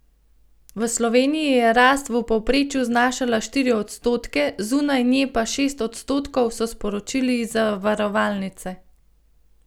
V Sloveniji je rast v povprečju znašala štiri odstotke, zunaj nje pa šest odstotkov, so sporočili iz zavarovalnice.